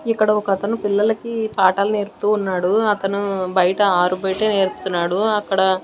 ఇక్కడ ఒకతను పిల్లలకి పాఠాలు నేర్పుతూ ఉన్నాడు అతను బయట ఆరు బయటే నేర్పుతున్నాడు అక్కడ.